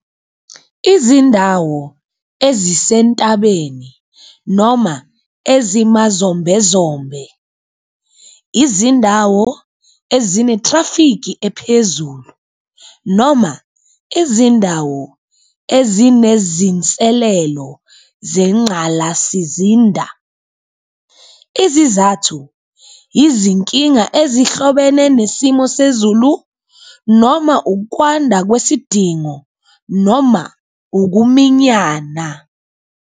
Izindawo ezisentabeni noma ezimazombezombe izindawo ezinetrafiki ephezulu, noma izindawo ezinezinselelo zengqalasizinda. Izizathu izinkinga ezihlobene nesimo sezulu noma ukwanda kwesidingo noma ukuminyana.